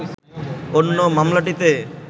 অন্য মামলাটিতে